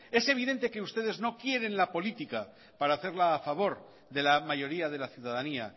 es evidente que ustedes no quieren la política para hacerla a favor de la mayoría de la ciudadanía